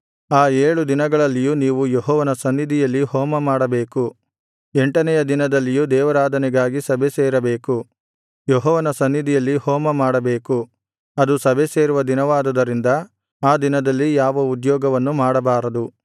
ಆ ಏಳು ದಿನಗಳಲ್ಲಿಯೂ ನೀವು ಯೆಹೋವನ ಸನ್ನಿಧಿಯಲ್ಲಿ ಹೋಮಮಾಡಬೇಕು ಎಂಟನೆಯ ದಿನದಲ್ಲಿಯೂ ದೇವಾರಾಧನೆಗಾಗಿ ಸಭೆಸೇರಬೇಕು ಯೆಹೋವನ ಸನ್ನಿಧಿಯಲ್ಲಿ ಹೋಮಮಾಡಬೇಕು ಅದು ಸಭೆಸೇರುವ ದಿನವಾದುದರಿಂದ ಆ ದಿನದಲ್ಲಿ ಯಾವ ಉದ್ಯೋಗವನ್ನು ಮಾಡಬಾರದು